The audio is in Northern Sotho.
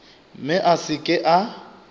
mme a se ke a